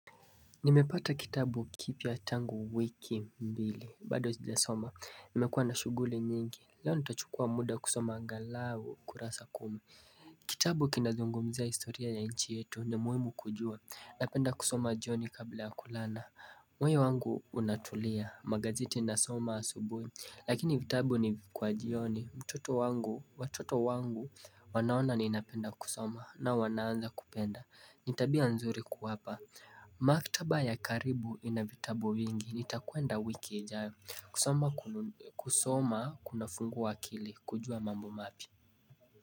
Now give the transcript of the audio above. Nimepata kitabu kipya tangu wiki mbili bado zijasoma nimekuwa na shughuli nyingi leo nitachukua muda kusoma angalau kurasa kume Kitabu kinazungumzia historia ya nchi yetu ni muhimu kujua napenda kusoma jioni kabla ya kulala moyo wangu unatulia magazeti nasoma asubuhi Lakini vitabu ni kwa jioni mtoto wangu watoto wangu wanaona ninapenda kusoma na wanaanza kupenda ni tabia nzuri kuwapa Maktaba ya karibu ina vitabu vingi nitakwenda wiki ijaya kusoma kunafungua akili kujua mambo mapya.